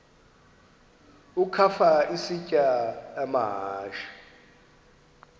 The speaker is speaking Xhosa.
ukafa isitya amahashe